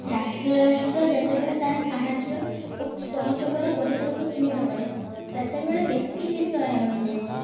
ରାଷ୍ଟ୍ର ରାଷ୍ଟ୍ର ଯେତେବେଳେ ତାର ସାହାର୍ଯ୍ୟ ଓ ସହଯୋଗକୁ ସୀମିତ କରେ ସେତେବେଳେ ବ୍ୟକ୍ତି ନିସହାୟ ହେଇ ଯାଇ ଥାଏ